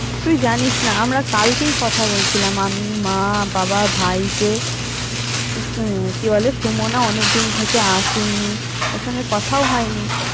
তুই জানিস না আমরা কালকেই কথা বলছিলাম আমি, মা, বাবা, ভাই যে কি বলে সুমনা অনেক দিন থেকে আসেনি ওর সঙ্গে কোথাও হয়নি।